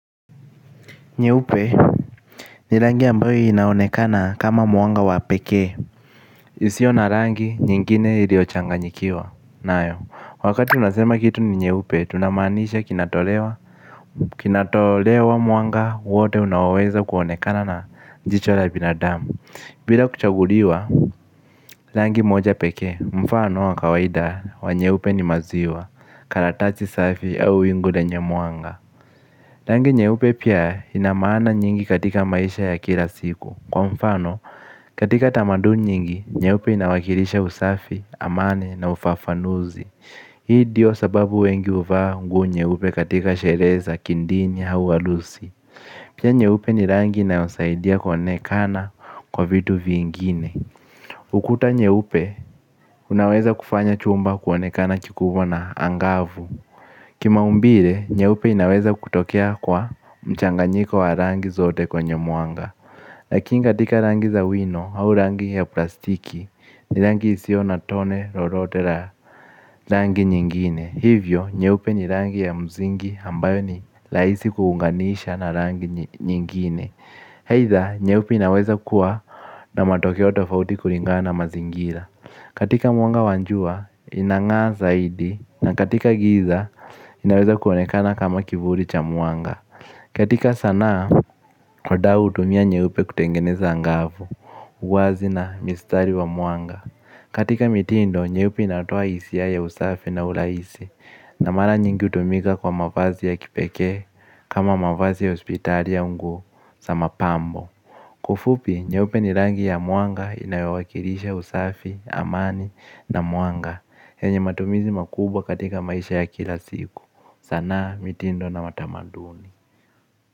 Nyeupe ni rangi ambayo inaonekana kama mwanga wa pekee. Isio na rangi, nyingine iliochanganyikiwa. Nayo, wakati unasema kitu ni nyeupe, tunamaanisha kinatolewa. Kinatolewa mwanga, wote unaoweza kuonekana na jicho la binadamu bila kuchanguliwa rangi moja pekee mfano wa kawaida wa nyeupe ni maziwa karatasi safi au wingu lenye mwanga. Rangi nyeupe pia ina maana nyingi katika maisha ya kila siku. Kwa mfano, katika tamaduni nyingi, nyeupe inawakilisha usafi, amani na ufafanuzi. Hii ndiyo sababu wengi huvaa nguo nyeupe katika sherehe za, kidini, au harusi. Pia nyeupe ni rangi inayosaidia kuonekana kwa vitu vingine. Ukuta nyeupe unaweza kufanya chumba kuonekana kikubwa na angavu. Kimaumbile nyeupe inaweza kutokea kwa mchanganyiko wa rangi zote kwenye mwanga. Lakin katika rangi za wino, au rangi ya plastiki, ni rangi isio na tone lolote la rangi nyingine. Hivyo, nyeupe ni rangi ya msingi ambayo ni rahisi kuunganisha na rangi nyingine aidha, nyeupe inaweza kuwa na matokeo tofauti kulingana na mazingira. Katika mwanga wajua, inangaa zaidi na katika giza, inaweza kuonekana kama kivuli cha mwanga. Katika sanaa, wadau hutumia nyeupe kutengeneza angavu, uwazi na mistari wa mwanga. Katika mitindo, nyeupe inatoa hisia ya usafi na urahisi. Na mara nyingi hutumika kwa mavazi ya kipekee kama mavazi ya hospitali au nguo za mapambo. Kwa ufupi nyeupe ni rangi ya mwanga inayowakilisha usafi, amani na mwanga yenye matumizi makubwa katika maisha ya kila siku. Sanaa mitindo na matamaduni.